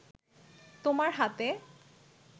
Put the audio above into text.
তোমার হাতে